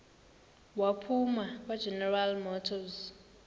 waphuma kwageneral motors